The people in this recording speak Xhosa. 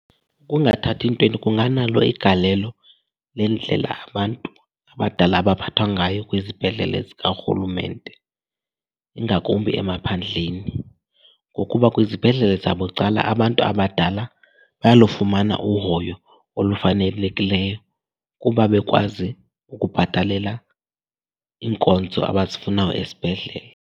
Ukungathathi ntweni kunganalo igalelo lendlela abantu abadala abaphathwa ngayo kwizibhedlele zikarhulumente ingakumbi emaphandleni. Ngokuba kwizibhedlele zabucala, abantu abadala bayalufumana uhoyo olufanelekileyo kuba bekwazi ukubhatalela iinkonzo abazifunayo esibhedlele.